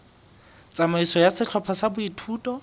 tsamaiso ya sehlopha sa boithuto